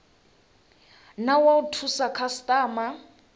na wa u thusa khasitama